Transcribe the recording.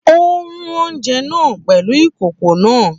Ó rú oúnjẹ náà pẹ̀lú ìkòkò náà.